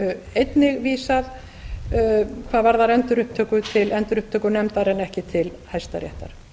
einnig vísað hvað aðrar endurupptöku til endurupptökunefndar en ekki til hæstaréttar